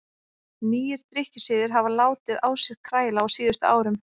Nýir drykkjusiðir hafa látið á sér kræla á síðustu árum.